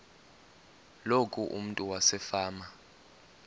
loku umntu wasefama